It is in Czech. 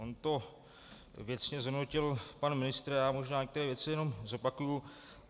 On to věcně zhodnotil pan ministr, já možná některé věci jenom zopakuji.